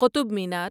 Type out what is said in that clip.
Qutub Minar